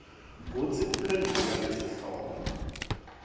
kutsi uphendvula ngesihloko